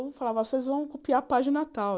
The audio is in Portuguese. Eu falava, vocês vão copiar a página tal.